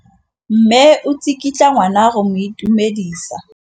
Mme o tsikitla ngwana go mo itumedisa.